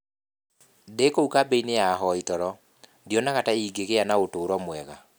Ndĩ kũu kambĩ-inĩ ya ahoi toro, ndionaga ta ingĩgĩa na ũtũũro mwega".